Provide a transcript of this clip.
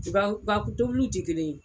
U ka u ka tobiliw ti kelen ye.